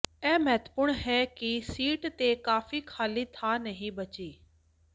ਇਹ ਮਹੱਤਵਪੂਰਣ ਹੈ ਕਿ ਸ਼ੀਟ ਤੇ ਕਾਫ਼ੀ ਖਾਲੀ ਥਾਂ ਨਹੀਂ ਬਚੀ